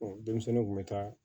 denmisɛnninw kun bɛ taa